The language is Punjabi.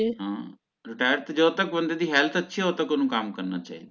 ਹਾਂ retire ਤਾ ਜਦੋ ਤਕ ਬੰਦੇ ਦੀ health ਅੱਛੀ ਹੈ ਓਦੋ ਤਕ ਓਹਨੂੰ ਕੰਮ ਕਰਨਾ ਚਾਹੀਦਾ